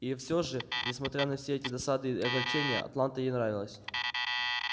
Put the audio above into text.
и всё же несмотря на все эти досады и огорчения атланта ей нравилась